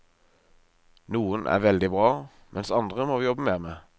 Noen er veldig bra, mens andre må vi jobbe mer med.